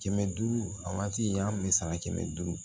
Kɛmɛ duuru a waati an kun bɛ sara kɛmɛ duuru